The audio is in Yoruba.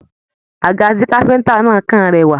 Àga tí káfíntà náà kàn rẹwà.